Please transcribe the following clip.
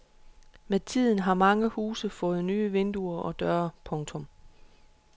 Med tiden har mange huse fået nye vinduer og døre. punktum